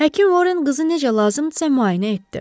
Həkim Vorren qızı necə lazımdırsa müayinə etdi.